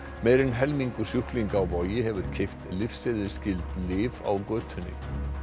meira en helmingur sjúklinga á Vogi hefur keypt lyfseðilsskyld lyf á götunni